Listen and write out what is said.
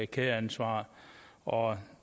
kædeansvar og